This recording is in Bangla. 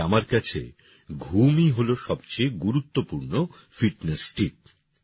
তাই আমার কাছে ঘুমই হল সবচেয়ে গুরুত্বপূর্ণ ফিটনেস টিপ